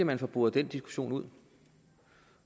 man får boret den diskussion ud